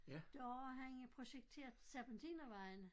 Da var han projekteret til Serpentinervejen